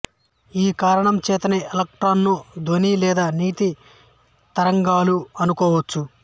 ఈ కారణం చేతనే ఎలక్ట్రాన్ ను ధ్వని లేదా నీటి తరంగాలలా అనుకోవచ్చు